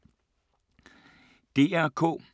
DR K